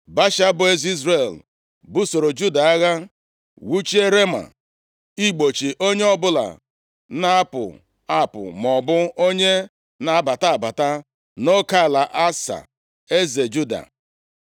Baasha eze Izrel, busoro Juda agha, wuchie Rema igbochi onye ọbụla na-apụ apụ maọbụ onye na-abata abata nʼoke ala Asa, eze Juda.